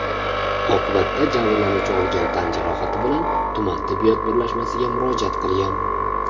Oqibatda jabrlanuvchi olgan tan jarohati bilan tuman tibbiyot birlashmasiga murojaat qilgan.